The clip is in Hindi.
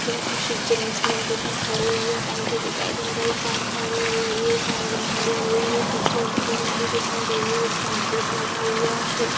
पे कुछ जेंट्स लेडीज़ खड़े हुए हैं टंकी दिखाई दे रही है कार खड़ी हुई है साइकिल खड़ी हुई है कचरे वाली गाड़ी दिखाई दे रही है एक पंपलेट लगा हुआ है।